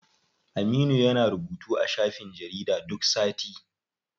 Aminu yana rubutu a shafin jarida duk sati.